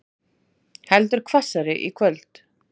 Heldur hvassari í kvöld